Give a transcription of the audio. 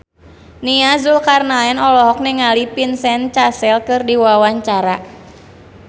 Nia Zulkarnaen olohok ningali Vincent Cassel keur diwawancara